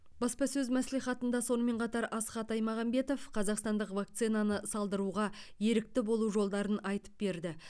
баспасөз мәслихатында сонымен қатар асхат аймағамбетов қазақстандық вакцинаны салдыруға ерікті болу жолдарын айтып берді